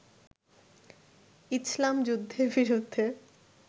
ইছলাম যুদ্ধের বিরুদ্ধে